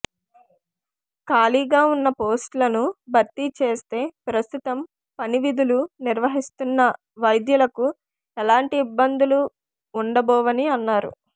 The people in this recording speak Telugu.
ఖాళీగా ఉన్న పోస్టులను భర్తీ చేస్తే ప్రస్తుతం పనివిధులు నిర్వహిస్తున్న వైద్యులకు ఎలాంటి ఇబ్బందులు ఉండబోవని అన్నారు